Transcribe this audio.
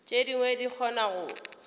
tše dingwe di kgona go